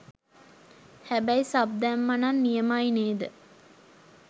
හැබැයි සබ් දැම්මනම් නියමයි නේද ?